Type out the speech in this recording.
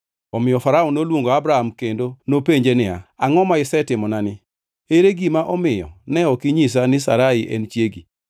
Omiyo Farao noluongo Abram kendo nopenje niya, “Angʼo ma isetimonani? Ere gima omiyo ne ok inyisa ni Sarai en chiegi?